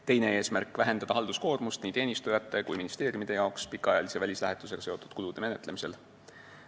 Teine eesmärk: vähendada nii teenistujate kui ka ministeeriumide halduskoormust pikaajalise välislähetusega seotud kulude menetlemisel.